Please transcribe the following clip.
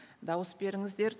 дауыс беріңіздер